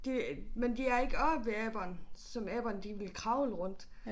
Det men de er ikke oppe ved aberne som aberne de ville kravle rundt